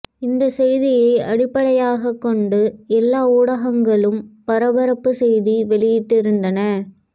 இந்த செய்தியை அடிப்படையாகக் கொண்டு எல்லா ஊடகங்களும் பரபரப்பு செய்தி வெளியிட்டிருந்தன